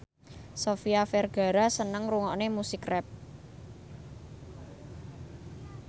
Sofia Vergara seneng ngrungokne musik rap